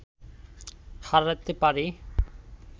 হারাতে পারি